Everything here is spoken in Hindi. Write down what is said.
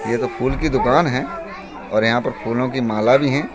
यह तो फूल की दुकान है और यहाँ पर फूलों की माला भी है।